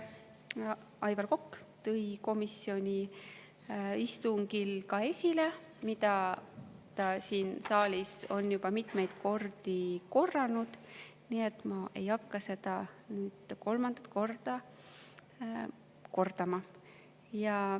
Aivar Kokk tõi komisjoni istungil esile samu argumente, mida ta on siin saalis juba mitmeid kordi korranud, nii et ma ei hakka neid kordama.